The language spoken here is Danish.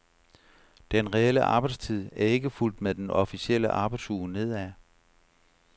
Den reelle arbejdstid er ikke fulgt med den officielle arbejdsuge nedad.